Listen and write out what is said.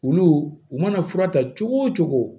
Olu u mana fura ta cogo o cogo